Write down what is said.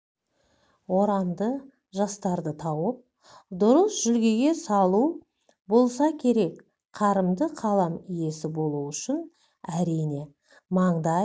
орамды жастарды тауып дұрыс жүлгеге салу болса керек қарымды қалам иесі болу үшін әрине маңдай